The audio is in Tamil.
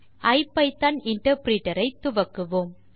ஐபிதான் இன்டர்பிரிட்டர் ஐ துவக்குவோம்